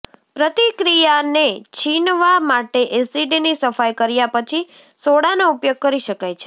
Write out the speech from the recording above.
પ્રતિક્રિયાને છીનવા માટે એસિડની સફાઇ કર્યા પછી સોડાનો ઉપયોગ કરી શકાય છે